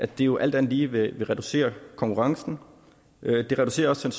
det jo alt andet lige vil reducere konkurrencen det reducerer også